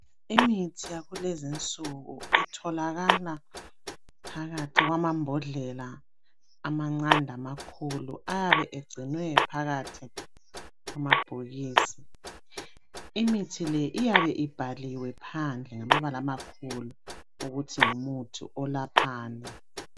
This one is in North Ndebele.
Imithi yakulezinsuku itholakala phakathi kwamambodlela amancane lamakhulu. Ayabe egcinwe phakathi kwamabhokisi. Imithi le iyabe ibhaliwe phandle ngamabala amakhulu ukuthi ngumuthi olaphani.